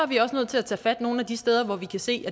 vi også nødt til at tage fat nogle af de steder hvor vi kan se